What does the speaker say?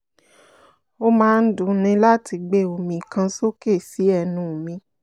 ó máa ń dunni láti gbé omi kan sókè sí ẹnu mi